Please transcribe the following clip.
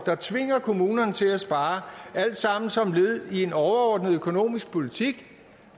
der tvinger kommunerne til at spare alt sammen som led i en overordnet økonomisk politik